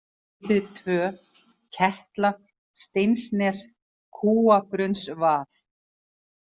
Heiði II, Ketla, Steinsnes, Kúabrunnsvað